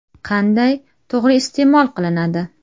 Qanday to‘g‘ri iste’mol qilinadi?